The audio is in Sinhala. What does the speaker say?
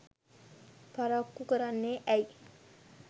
පරක්කු කරන්නේ ඇයි